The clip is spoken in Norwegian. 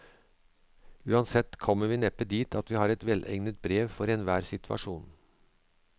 Uansett kommer vi neppe dit at vi har et velegnet brev for enhver situasjon.